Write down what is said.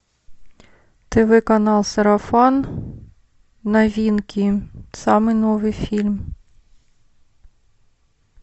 тв канал сарафан новинки самый новый фильм